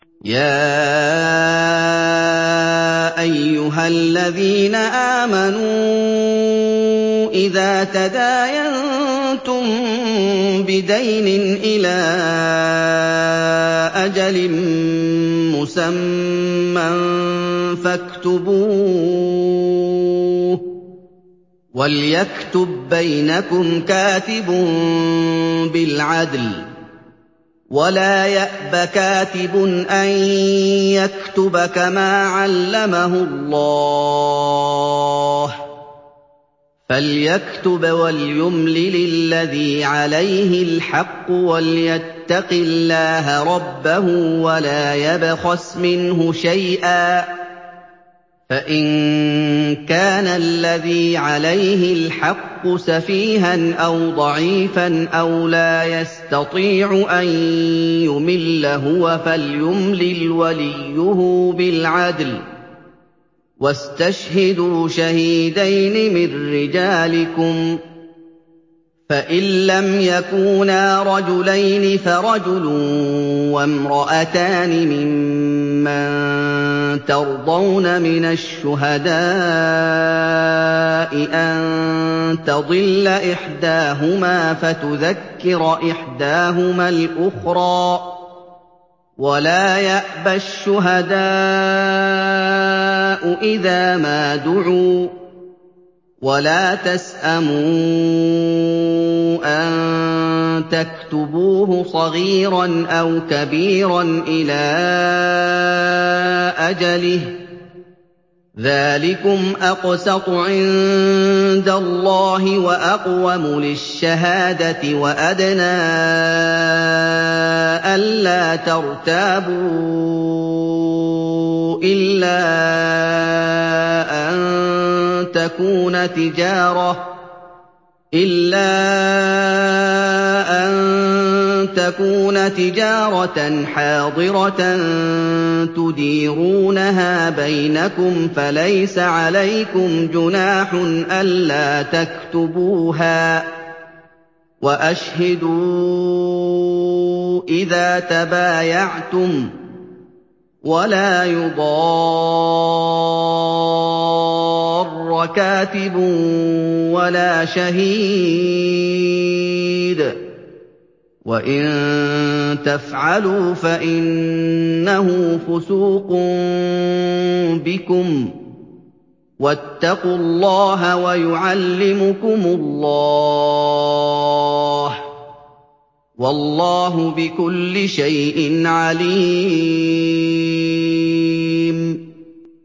يَا أَيُّهَا الَّذِينَ آمَنُوا إِذَا تَدَايَنتُم بِدَيْنٍ إِلَىٰ أَجَلٍ مُّسَمًّى فَاكْتُبُوهُ ۚ وَلْيَكْتُب بَّيْنَكُمْ كَاتِبٌ بِالْعَدْلِ ۚ وَلَا يَأْبَ كَاتِبٌ أَن يَكْتُبَ كَمَا عَلَّمَهُ اللَّهُ ۚ فَلْيَكْتُبْ وَلْيُمْلِلِ الَّذِي عَلَيْهِ الْحَقُّ وَلْيَتَّقِ اللَّهَ رَبَّهُ وَلَا يَبْخَسْ مِنْهُ شَيْئًا ۚ فَإِن كَانَ الَّذِي عَلَيْهِ الْحَقُّ سَفِيهًا أَوْ ضَعِيفًا أَوْ لَا يَسْتَطِيعُ أَن يُمِلَّ هُوَ فَلْيُمْلِلْ وَلِيُّهُ بِالْعَدْلِ ۚ وَاسْتَشْهِدُوا شَهِيدَيْنِ مِن رِّجَالِكُمْ ۖ فَإِن لَّمْ يَكُونَا رَجُلَيْنِ فَرَجُلٌ وَامْرَأَتَانِ مِمَّن تَرْضَوْنَ مِنَ الشُّهَدَاءِ أَن تَضِلَّ إِحْدَاهُمَا فَتُذَكِّرَ إِحْدَاهُمَا الْأُخْرَىٰ ۚ وَلَا يَأْبَ الشُّهَدَاءُ إِذَا مَا دُعُوا ۚ وَلَا تَسْأَمُوا أَن تَكْتُبُوهُ صَغِيرًا أَوْ كَبِيرًا إِلَىٰ أَجَلِهِ ۚ ذَٰلِكُمْ أَقْسَطُ عِندَ اللَّهِ وَأَقْوَمُ لِلشَّهَادَةِ وَأَدْنَىٰ أَلَّا تَرْتَابُوا ۖ إِلَّا أَن تَكُونَ تِجَارَةً حَاضِرَةً تُدِيرُونَهَا بَيْنَكُمْ فَلَيْسَ عَلَيْكُمْ جُنَاحٌ أَلَّا تَكْتُبُوهَا ۗ وَأَشْهِدُوا إِذَا تَبَايَعْتُمْ ۚ وَلَا يُضَارَّ كَاتِبٌ وَلَا شَهِيدٌ ۚ وَإِن تَفْعَلُوا فَإِنَّهُ فُسُوقٌ بِكُمْ ۗ وَاتَّقُوا اللَّهَ ۖ وَيُعَلِّمُكُمُ اللَّهُ ۗ وَاللَّهُ بِكُلِّ شَيْءٍ عَلِيمٌ